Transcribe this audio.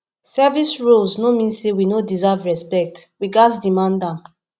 service roles no mean say we no deserve respect we gatz demand am